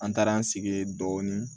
An taara an sigi ye dɔɔni